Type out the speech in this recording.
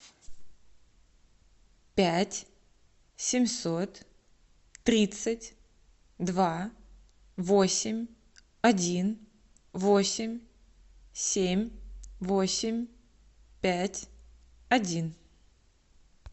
пять семьсот тридцать два восемь один восемь семь восемь пять один